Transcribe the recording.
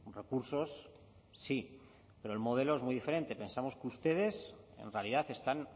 recursos sí pero el modelo es muy diferente pensamos que ustedes en realidad están